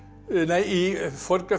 í